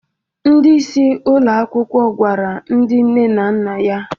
Ndị isi ụlọ akwụkwọ gwara ndị nne na nna ya